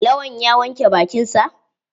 Lawan ya wanke bakin sa?